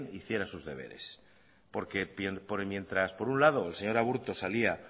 hiciera sus deberes porque mientras por un lado el señor aburto salía